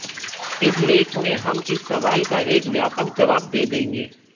इस लेख में हम इस सवाल का एक व्यापक जवाब दे देंगे